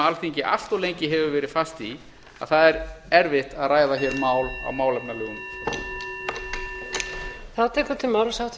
alþingi allt lengi hefur verið fast í að það er erfitt að ræða hér mál á málefnalegum grunni